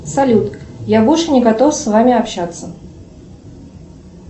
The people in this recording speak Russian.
салют я больше не готов с вами общаться